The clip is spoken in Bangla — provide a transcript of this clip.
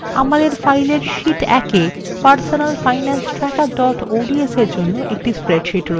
আমাদের file sheet ১এ personalfinancetracker ods –এর জন্য একটি spreadsheet রয়েছে